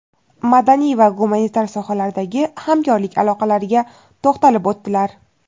madaniy va gumanitar sohalardagi hamkorlik aloqalariga to‘xtalib o‘tdilar.